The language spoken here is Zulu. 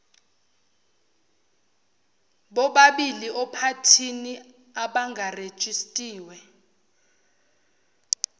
bobaili ophathini abangarejistiwe